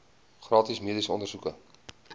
gratis mediese ondersoeke